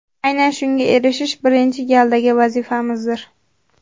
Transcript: Aynan shunga erishish birinchi galdagi vazifamizdir.